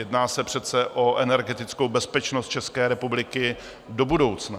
Jedná se přece o energetickou bezpečnost České republiky do budoucna.